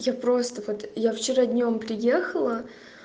я просто вот я вчера днём приехала